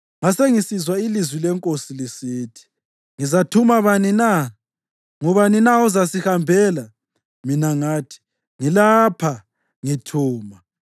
Ngasengisizwa ilizwi leNkosi lisithi, “Ngizathuma bani na? Ngubani na ozasihambela?” Mina ngathi, “Ngilapha. Ngithuma!”